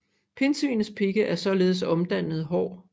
Pindsvinets pigge er således omdannede hår